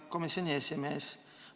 Hea komisjoni esimees!